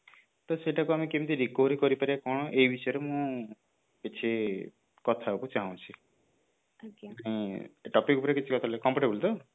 ତ ସେଇଟାକୁ ଆମେ କେମିତି recovery କରି ପାରିବା କଣ ଏଇ ବିଷୟରେ ମୁଁ କିଛି କଥା ହବାକୁ ଚାହୁଁଛି ଏଇ topic ଉପରେ କିଛି କଥା ହେଲେ comfortable ତ